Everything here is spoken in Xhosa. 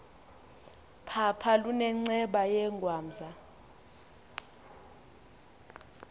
phapha lunenceba yengwamza